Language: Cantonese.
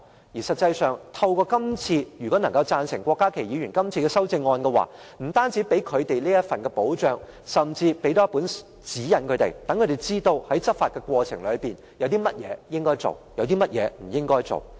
而實際上，通過郭家麒議員的修正案，不但能為他們提供一份保障，甚至能夠給予他們指引，讓他們知道在執法過程中，有甚麼應該做，有甚麼不應該做。